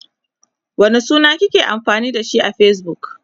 wane suna kike amfani da shi a Facebook?